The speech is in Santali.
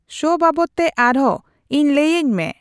ᱥᱳ ᱵᱟᱵᱚᱛᱼᱛᱮ ᱟᱨᱦᱚᱸ ᱤᱧ ᱞᱟᱹᱭᱟᱹᱧᱢᱮ